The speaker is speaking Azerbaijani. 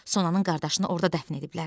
Sonanın qardaşını orada dəfn ediblər.